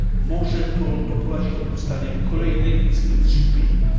Może to doprowadzić do powstania kolejnej instytucji unijnej.